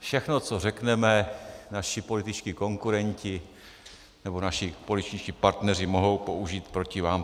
Všechno, co řekneme, naši političtí konkurenti nebo naši političtí partneři mohou použít proti vám.